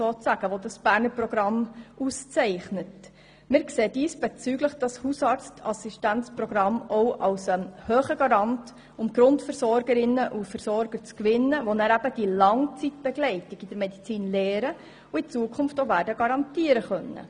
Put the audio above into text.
Diesbezüglich sehen wir das Hausarztassistenzprogramm als starken Garanten, um Grundversorgerinnen und Grundversorger zu gewinnen, welche die Langzeitbegleitung in der Medizin lernen und in Zukunft auch garantieren können.